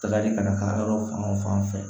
Tagali ka na taa yɔrɔ fan o fan fɛ